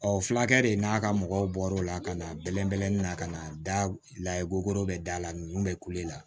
fulakɛ de n'a ka mɔgɔw bɔr'o la ka na bɛlɛn bɛlɛnin na ka na da la i kokoro bɛ da la n bɛ kule la